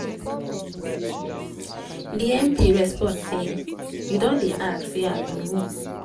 di mp respond say "you don dey ask say i be who?